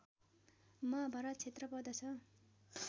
महाभारत क्षेत्र पर्दछ